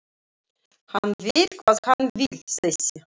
Hann veit hvað hann vill þessi!